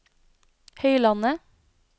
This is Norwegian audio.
Høylandet